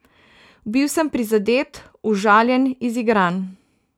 Bil sem prizadet, užaljen, izigran.